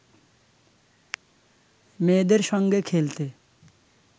মেয়েদের সঙ্গে খেলতে